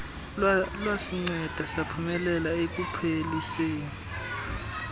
lwasinceda saphumelela ekupheliseni